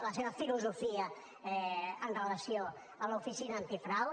la seva filosofia amb relació a l’oficina antifrau